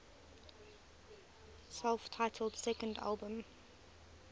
self titled second album